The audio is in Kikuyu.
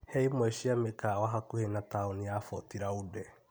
Hee imwe cia mĩkawa hakuhĩ na taũni ya Boti laũnde